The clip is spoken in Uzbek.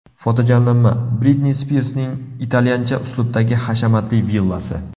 Fotojamlanma: Britni Spirsning italyancha uslubdagi hashamatli villasi.